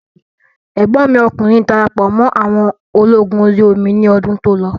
Ẹ̀gbọ́n mi ọkùnrin darapọ̀ mọ́ àwọn ológun orí omi ní ọdún tó lọ